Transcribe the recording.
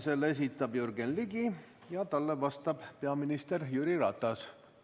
Selle esitab Jürgen Ligi ning talle vastab peaminister Jüri Ratas.